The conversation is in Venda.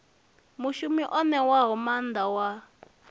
mushumi o ṋewaho maanḓa wa